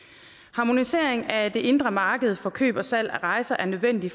harmonisering af det indre marked for køb og salg af rejser er nødvendig